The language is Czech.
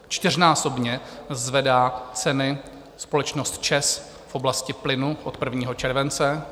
Čtyřnásobně zvedá ceny společnost ČEZ v oblasti plynu od 1. července.